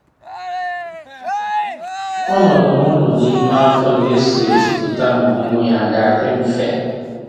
Ọnọdụ nwa nọ n'ime afọ na-eso ezipụta ma ọmụmụ ya a ga-adị mfe